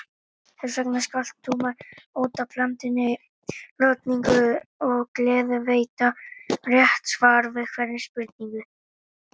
Þessvegna skalt þú með óttablandinni lotningu og gleði veita rétt svar við hverri spurningu.